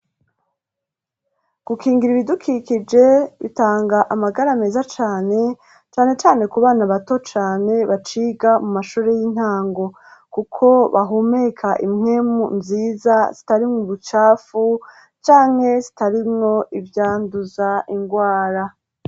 Gukingira ibidukikije bitanga amagara meza cane, cane cane ku bana bato cane baciga mu mashure y'intango kuko bahumeka impwemu nziza zitarimwo ubucafu canke zitarimwo ivyanduza ingwara.